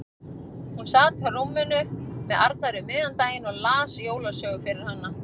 Hún sat á rúminu með Arnari um miðjan daginn og hann las jólasögu fyrir hana.